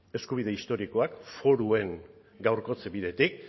eskubide historikoak foruen gaurkotze bidetik